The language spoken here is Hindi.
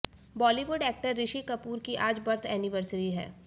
बॉलीवुड एक्टर ऋषि कपूर की आज बर्थ एनिवर्सिरी है